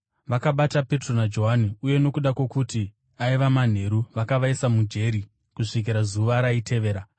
Vakabata Petro naJohani, uye nokuda kwokuti aiva manheru, vakavaisa mujeri kusvikira zuva raitevera.